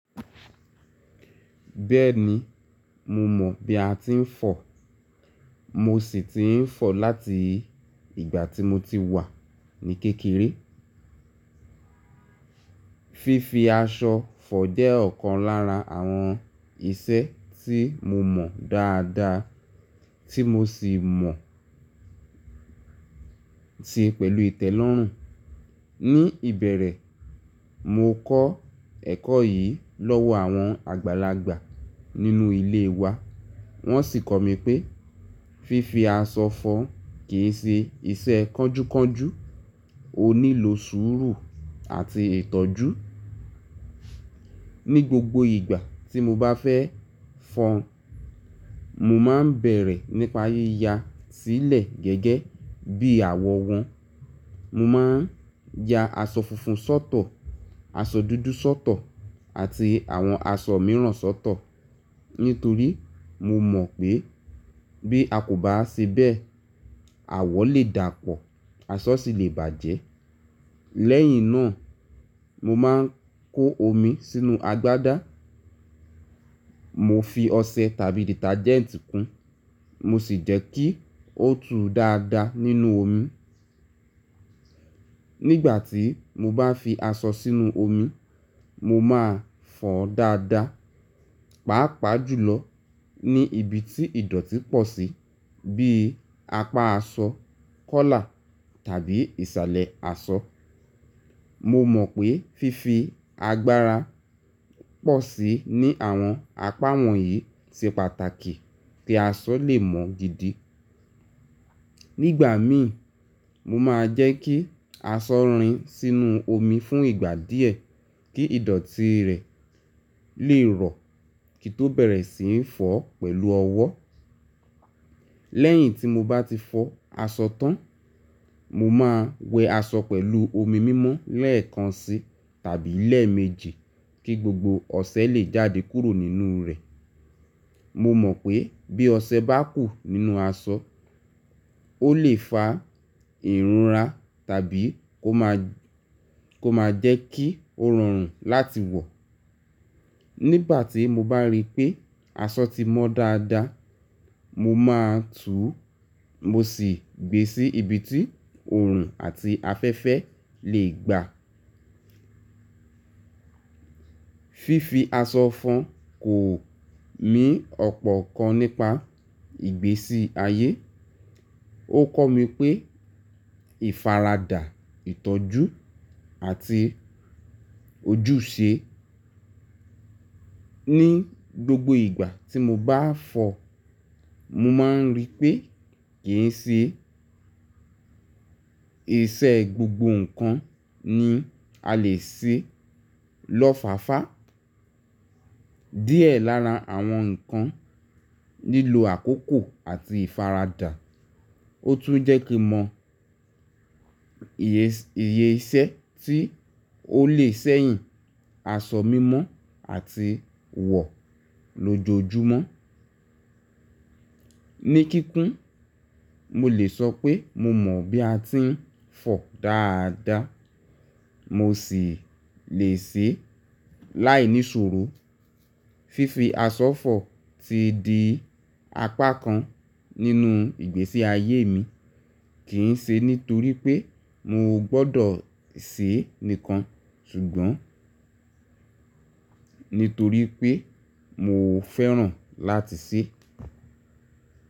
Bẹ́ẹ̀ni, mo mọ̀ bí a ti ń fọ, mo sì ti ń fọ láti ìgbà tí mo ti wà ní kékeré. Fifi aṣọ fọ jẹ́ ọ̀kan lára àwọn iṣẹ́ tí mo mọ̀ dáadáa tí mo sì mọ̀ ti pẹ̀lú ìtẹ́lọ́rùn. Ní ìbẹ̀rẹ̀, mo kọ́ ẹ̀kọ́ yìí lọ́wọ́ àwọn àgbàlagbà nínú ilé wa. Wọ́n sì kọ́ mi pé fífi aṣọ fọ kì í ṣe iṣẹ́ kọ́júkọ́jú, ó nílò sùúrù àti ìtọ́jú. Ní gbogbo ìgbà tí mo bá fẹ́ fọ́, mo máa ń bẹ̀rẹ̀ nípa yíya sílẹ̀ gẹ́gẹ́ bí àwọ̀ wọn. Mo máa ń ya aṣọ funfun sọ́tọ̀, aṣọ dúdú sọ́tọ̀ àti àwọn aṣọ mìíràn sọ́tọ̀. Nítorí mo mọ̀ pé bí a kò bá ṣe bẹ́ẹ̀, àwọ̀ lè dàpọ̀, aṣọ sì lè bàjẹ́. Lẹ́yìn náà, mo máa ń kó omi sínú agbádá, mo fi ọṣẹ tàbí dìtajẹ́ǹtì kún, mo sì jẹ́ kí ó tu dáadáa nínú omi. Nígbà tí mo bá fi aṣọ sínú omi, mo máa fọ́n dáadáa, pàápàá jùlọ ní ibi tí ìdọ̀tí pọ̀ sí bíi apá aṣọ, kọ́là tàbí ìsàlẹ̀ aṣọ. Mo mọ̀ pé fífi agbára pọ̀ síi ní àwọn apá wọ̀nyí ṣe pàtàkì kí aṣọ lè mọ́n gidi. Nígbà mí, mo máa ń jẹ́ kí aṣọ rìn sínú omi fún ìgbà díẹ̀ kí ìdọ̀tí rẹ̀ lè rọ̀ kí n tó bẹ̀rẹ̀ sí ń fọ̀ ọ́ pẹ̀lú ọwọ́. Lẹ́yìn tí mo bá ti fọ aṣọ tán, mo máa wẹ aṣọ pẹ̀lú omi mímọ́ lẹ́ẹ̀kan sí tàbí ni eẹ̀méjì kí gbogbo ọṣẹ lè jáde kúrò nínú rẹ̀. Mo mọ̀ pé bí ọṣẹ bá kù nínú aṣọ, ó lè fa ìrùnra tàbí kó má jẹ́ kí ó rọrùn láti wọ̀. Nígbà tí mo bá rí pé aṣọ ti mọ́ dáadáa, mo máa túu, mo sì gbé sí ibi tí òòrùn àti afẹ́fẹ́ lè gbà. Fifi aṣọ fọ kò mí ọ̀pọ̀ ọ̀kan nípa ìgbésí ayé. Ó kọ́ mi pé ìfaradà, ìtọ́jú àti ojúṣe. Ní gbogbo ìgbà tí mo bá fọ, mo máa ń rí pé kì í ṣe ìṣe gbogbo nǹkan ni a lè ṣe lọ́fáfá. Díẹ̀ lára àwọn nǹkan nílò àkókò àti ìfaradà. Ó tún jẹ́ kí n mọ iye iṣẹ́ tí ó lè ṣẹ́yìn aṣọ mímọ́ àtiwọ̀ lójoojúmọ́. Ní kíkún, mo lè sọ pé mo mọ̀ bí a ti ń fọ dáadáa, mo sì lè ṣe láì ní ṣuru. Fifi aṣọ fọ ti di apá kan nínú ìgbésí ayé mi. Kì í ṣe nítorí pé mo gbọ́dọ̀ ṣe é nìkan, ṣùgbọ́n nítorí pé mo fẹ́ràn láti ṣe é.